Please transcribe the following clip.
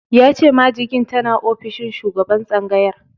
Ya ce majigin tana ofishin shugaban tsangayar.